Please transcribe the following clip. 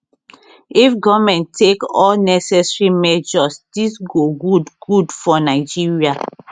if goment take all necessary measures dis go good good for nigeria